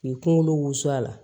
K'i kunkolo wusu a la